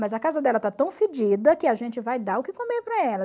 Mas a casa dela está tão fedida que a gente vai dar o que comer para ela.